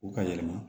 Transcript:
U ka yɛlɛma